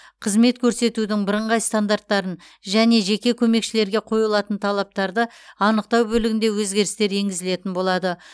қызмет көрсетудің бірыңғай стандарттарын және жеке көмекшілерге қойылатын талаптарды анықтау бөлігінде өзгерістер енгізілетін болады